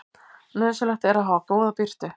Nauðsynlegt er að hafa góða birtu.